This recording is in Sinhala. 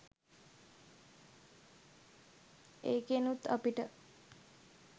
ඒකෙනුත් අපිට